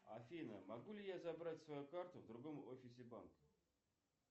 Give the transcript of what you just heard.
афина могу ли я забрать свою карту в другом офисе банка